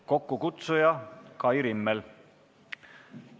Kokkukutsuja on Kai Rimmel.